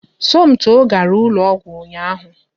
Somto gara ụlọ ọgwụ ụnyaahụ